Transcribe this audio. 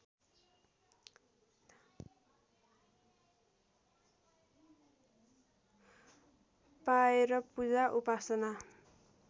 पाएर पूजा उपासना